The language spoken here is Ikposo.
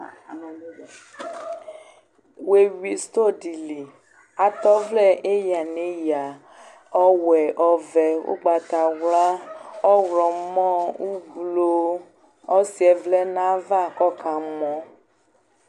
wéyui sitõdili Atɛ ɔvlẽ éya néya õwɛ õvɛ ugbatawla õwlõmõ uvlo õsiɛ vlɛ nava kõkamõ